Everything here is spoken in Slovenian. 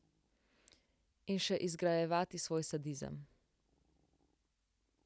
In še izgrajevati svoj sadizem.